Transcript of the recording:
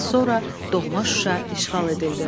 Az sonra doğma Şuşa işğal edildi.